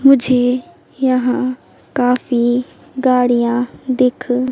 मुझे यहां काफी गाड़ियां दिख--